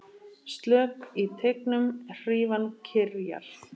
Slök í teignum hrífan kyrjar.